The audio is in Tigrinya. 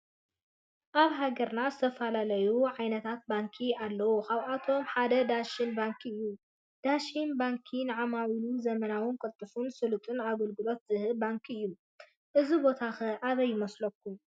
አብ ሃገርና ዝተፈላለዩ ዓይነታት ባንኪ አለው ካብአቶም ሓደ ዳሽን ባንክ እዩ ።ዳሽን ባንክ ንዓማዊሉ ዘመናውን ቁልጡፍን ሱሉጥን አገልግሎት ዝህብ ባንኪ እዩ ።እዚ ቦታ ከ አበይ ይመስለኩም?